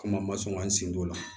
Komi an ma sɔn ka n sendon o la